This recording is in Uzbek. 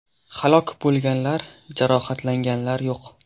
Halok bo‘lganlar, jarohatlanganlar yo‘q.